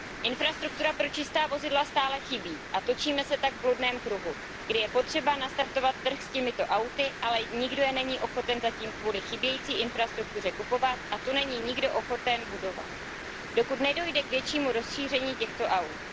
Infrastruktura pro čistá vozidla stále chybí a točíme se tak v bludném kruhu, kdy je potřeba nastartovat trh s těmito auty, ale nikdo je není ochoten zatím kvůli chybějící infrastruktuře kupovat a tu není nikdo ochoten budovat, dokud nedojde k většímu rozšíření těchto aut.